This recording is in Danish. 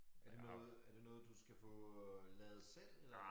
Er det noget er det noget du skal få øh lavet selv eller